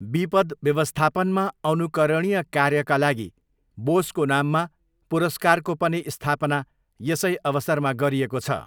विपद् व्यवस्थापनमा अनुकरणीय कार्यका लागि बोसको नाममा पुरस्कारको पनि स्थापना यसै अवसरमा गरिएको छ।